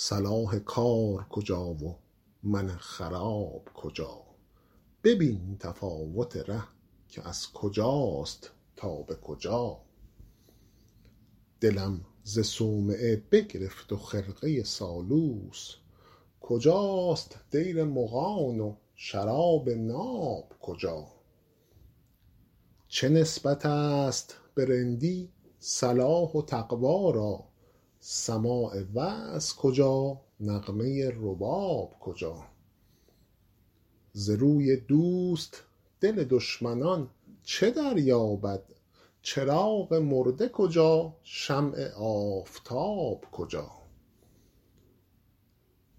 صلاح کار کجا و من خراب کجا ببین تفاوت ره کز کجاست تا به کجا دلم ز صومعه بگرفت و خرقه سالوس کجاست دیر مغان و شراب ناب کجا چه نسبت است به رندی صلاح و تقوا را سماع وعظ کجا نغمه رباب کجا ز روی دوست دل دشمنان چه دریابد چراغ مرده کجا شمع آفتاب کجا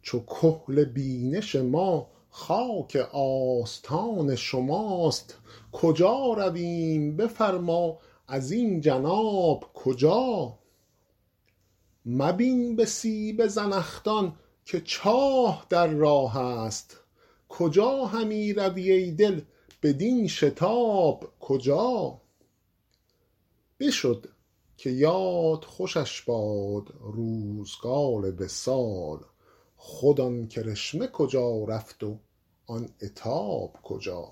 چو کحل بینش ما خاک آستان شماست کجا رویم بفرما ازین جناب کجا مبین به سیب زنخدان که چاه در راه است کجا همی روی ای دل بدین شتاب کجا بشد که یاد خوشش باد روزگار وصال خود آن کرشمه کجا رفت و آن عتاب کجا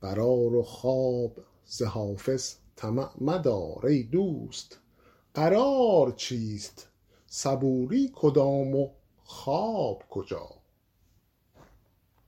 قرار و خواب ز حافظ طمع مدار ای دوست قرار چیست صبوری کدام و خواب کجا